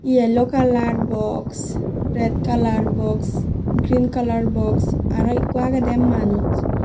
yellow colour box red colour box green colour box aro ekko agedey manuj.